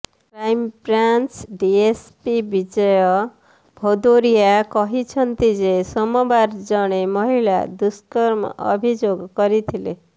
crime branch DSP Vijay Bhadauria କହିଛନ୍ତି ଯେ ସୋମବାର ଜଣେ ମହିଳା ଦୁଷ୍କର୍ମ ଅଭିଯୋଗ କରିଥିଲେ